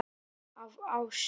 Af ást.